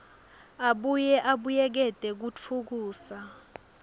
abuye abuyekete kutfutfukisa